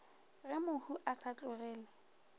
ge mohu a sa tlogele